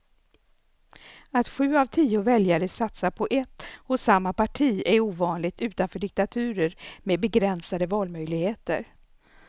Att sju av tio väljare satsar på ett och samma parti är ovanligt utanför diktaturer med begränsade valmöjligheter.